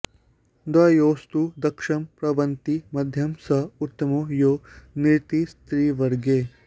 द्वयोस्तु दक्षं प्रवदन्ति मध्यं स उत्तमो यो निरतिस्त्रिवर्गे